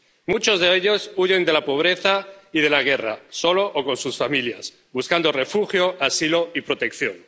Muchos de ellos huyen de la pobreza y de la guerra —solos o con sus familias— buscando refugio, asilo y protección.